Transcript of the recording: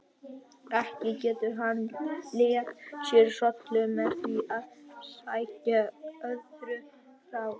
Ekki getur hann létt sér hrollinn með því að segja öðrum frá.